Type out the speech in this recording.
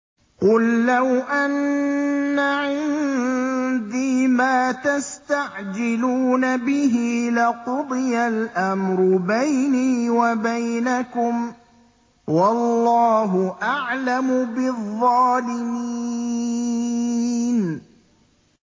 قُل لَّوْ أَنَّ عِندِي مَا تَسْتَعْجِلُونَ بِهِ لَقُضِيَ الْأَمْرُ بَيْنِي وَبَيْنَكُمْ ۗ وَاللَّهُ أَعْلَمُ بِالظَّالِمِينَ